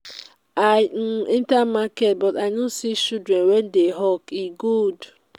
i um enter market but i no see children um wey dey hawk e good.